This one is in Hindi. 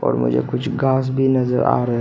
और मुझे कुछ घास भी नजर आ रहा--